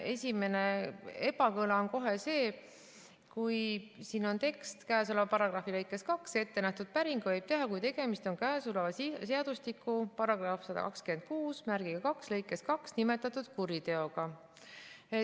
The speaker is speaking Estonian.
Esimene ebakõla on kohe see, et siin on tekst: käesoleva paragrahvi lõikes 2 ette nähtud päringu võib teha, kui tegemist on käesoleva seadustiku § 1262 lõikes 2 nimetatud kuriteoga.